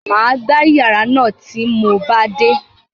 M á gbá ìyàrá náà tí mo bá dé.